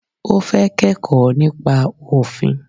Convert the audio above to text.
O fẹ́ kẹ́kọ̀ọ́ nípa òfin.